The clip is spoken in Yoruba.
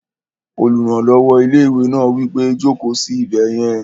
Olùrànlọ́wọ́ ilé-ìwé náà wí pé, "Jòkó sí ibẹ̀ yẹn!"